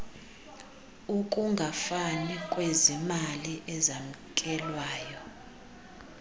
ukungafani kwezimali ezamkelwa